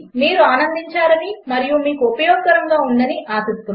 మీరు ఆనందించారని మరియు మీకు ఉపయోగకరముగా ఉందని ఆశిస్తున్నాము